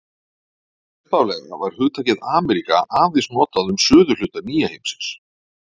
Upphaflega var hugtakið Ameríka aðeins notað um suðurhluta nýja heimsins.